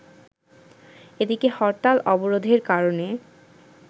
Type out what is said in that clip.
এদিকে হরতাল-অবরোধের কারণে